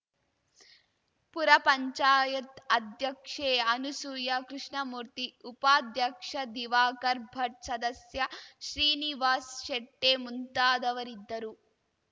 ಪುರ ಪಂಚಾಯತ್ ಅಧ್ಯಕ್ಷೆ ಅನಸೂಯ ಕೃಷ್ಣಮೂರ್ತಿ ಉಪಾಧ್ಯಕ್ಷ ದಿವಾಕರ್‌ ಭಟ್‌ ಸದಸ್ಯ ಶ್ರೀನಿವಾಸ್‌ ಶೆಟ್ಟಿಮುಂತಾದವರಿದ್ದರು